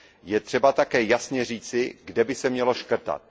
je třeba také jasně říci, kde by se mělo škrtat.